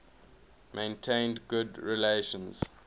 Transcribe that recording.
maintained good relations